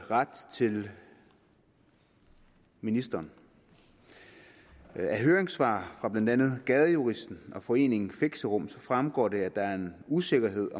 rette til ministeren af høringssvar fra blandt andet gadejuristen og foreningen fixerum fremgår det at der er usikkerhed